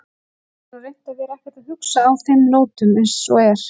Ég hef nú reynt að vera ekkert að hugsa á þeim nótunum eins og er.